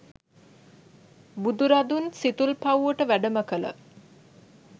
බුදුරදුන් සිතුල්පව්වට වැඩම කළ